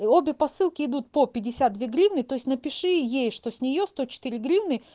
обе посылки идут по пятьдесят две гривны то есть напиши ей что с неё сто четыре гривны